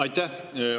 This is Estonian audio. Aitäh!